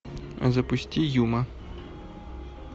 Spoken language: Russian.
запусти юма